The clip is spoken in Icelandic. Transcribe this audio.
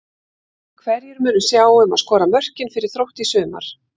Hverjir munu sjá um að skora mörkin fyrir Þrótt í sumar?